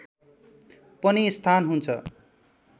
पनि स्थान हुन्छ